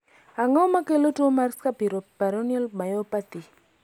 ang'o makelo tuo mar scapuloperoneal myopathy?